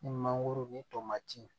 Ni mangoro ni tomati